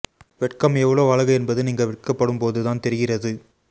வெட்கம் எவ்வளவு அழகு என்பது நீங்க வெட்கப்படும் போது தான் தெரிகிறது